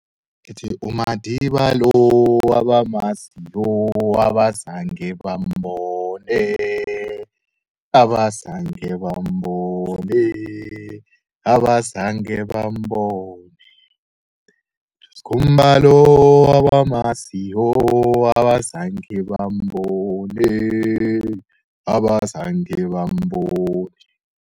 Sithi uMandiba lo, abamaziyo abazange bambone, abazange bambone, abazange bambone. USkhumba lo, bamaziyo abazange bambone, abazange bambone.